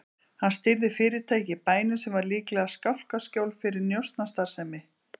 Hann stýrði fyrirtæki í bænum sem var líklega skálkaskjól fyrir njósnastarfsemi.